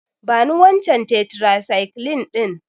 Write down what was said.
Bani wancan tetracycline ɗin.